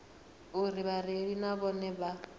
uri vhareili na vhone vha